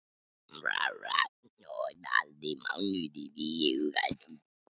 Og taldi mánuðina í huganum.